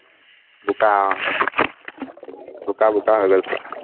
বোকা অ বোকা বোকা হৈ গল পুৰা